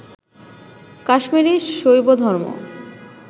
Kashmiri শৈবধর্ম